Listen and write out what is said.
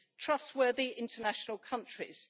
trustworthy international countries.